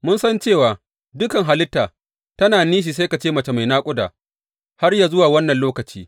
Mun san cewa dukan halitta tana nishi sai ka ce mace mai naƙuda har yă zuwa wannan lokaci.